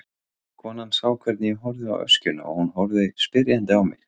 Konan sá hvernig ég horfði á öskjuna og hún horfði spyrjandi á mig.